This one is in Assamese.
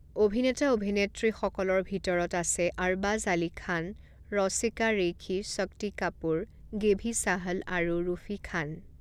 অভিনেতা অভিনেত্ৰীসকলৰ ভিতৰত আছে আৰবাজ আলী খান ৰৌছিকা ৰেইখি শক্তি কাপুৰ গেভি ছাহল আৰু ৰুফী খান।